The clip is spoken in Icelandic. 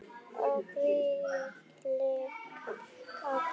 Og hvílíkt kakó.